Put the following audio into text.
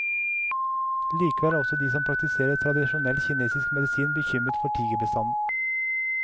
Likevel er også de som praktiserer tradisjonell kinesisk medisin bekymret for tigerbestanden.